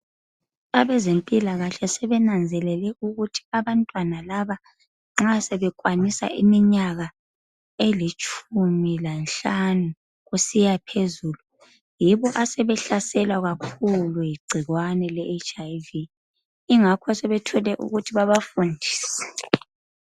Abezempilakahle sebenanzelele ukuthi abantwana laba nxa sebekwanisa iminyaka elitshumi lanhlanu kusiya phezulu yibo asebehlaselwa kakhulu yigcikwane le HiV ingakho sebethole ukuthi babafundise.